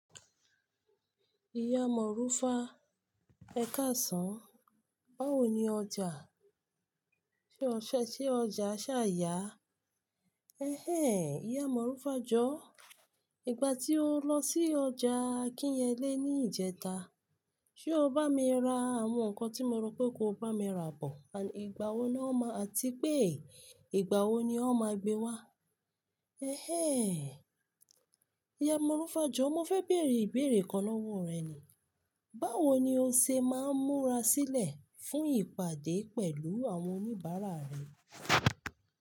Ìyá Mọ́rúfà, ẹ̀kásàn-án, báwo ni ọjà? Sé ọ̀sẹ̀ se ọjà ṣà ya? Ẹ̀hẹ́n, ìyá Mọ́rúfà jọ̀ọ́, ìgbà tí o lọ sí ọjà AKínyele ní ìjẹta, ṣe o bá mi ra àwọn nǹkan tí mo rọ pé ko bá mi ra bọ̀? Igbawo ni won ma. Àtipe ìgbà wo ni won máa gbé wá? Ẹ̀hẹ́n, ìyá Mọ́rúfà jọ̀ọ́, mo fẹ́ bèèrè ìbéèrè kan lọ́wọ́ rẹ ni. Báwo ni o ṣe máa ń múra sílẹ̀ fún ìpàdé pẹ̀lú àwọn oníbàárà rẹ?